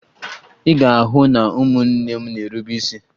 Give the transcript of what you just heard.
Ị ga-ahụ na ụmụnne m na-erube isi